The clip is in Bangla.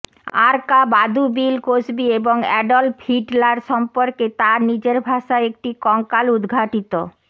আরকা বাদু বিল কসবি এবং অ্যাডল্ফ হিটলার সম্পর্কে তার নিজের ভাষায় একটি কঙ্কাল উদ্ঘাটিত